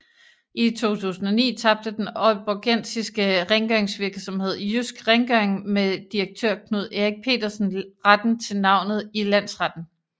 I 2009 tabte den ålborgensiske rengøringsvirksomhed Jysk Rengøring med direktør Knud Erik Petersen retten til navnet i Landsretten